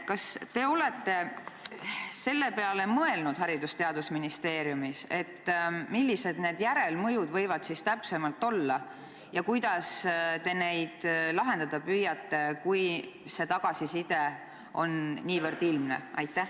Kas te olete Haridus- ja Teadusministeeriumis mõelnud ka selle peale, milline see järelmõju täpsemalt võiks olla ja kuidas te neid probleeme lahendada püüate, kui tagasiside on niivõrd ilmne?